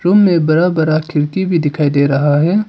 Room में बड़ा बड़ा खिड़की भी दिखाई दे रहा है।